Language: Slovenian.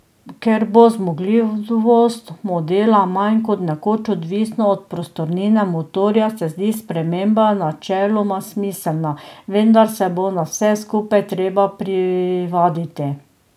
Ker bo zmogljivost modela manj kot nekoč odvisna od prostornine motorja, se zdi sprememba načeloma smiselna, vendar se bo na vse skupaj treba privaditi.